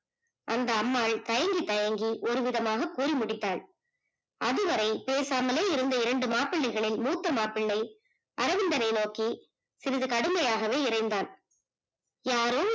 அந்த அம்மாள் தயங்கி தயங்கி ஒரு விதமாக கூறி முடித்தால் அது வரை பேசாமலே இருந்த இரண்டு மாப்பிள்ளைகளில் மூத்த மாப்பிள்ளை அரவிந்தனை நோக்கி சிறிது கடுமையாகவே இரைந்தான் யாரோ